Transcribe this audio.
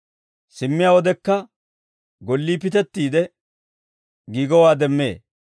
simmiyaa wodekka gollii pitettiide giigowaa demmee.